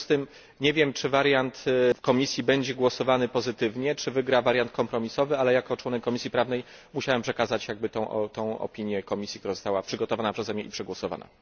W związku z tym nie wiem, czy wariant komisji będzie przegłosowany pozytywnie, czy wygra wariant kompromisowy, ale jako członek Komisji Prawnej musiałem przekazać komisji tę opinię, która została przygotowana przeze mnie i przegłosowana.